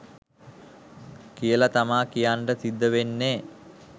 කියල තමා කියන්න සිද්ධ වෙන්නේ.